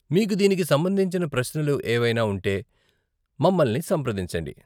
మీకు దీనికి సంబంధించిన ప్రశ్నలు ఏవైనా ఉంటే మమ్మల్ని సంప్రదించండి.